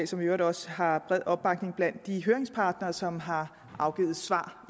som i øvrigt også har bred opbakning blandt de høringspartnere som har afgivet svar